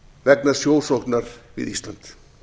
vegna sjósóknar við ísland